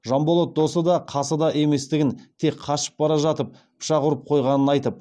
жанболат досы да қасы да еместігін тек қашып бара жатып пышақ ұрып қойғанын айтып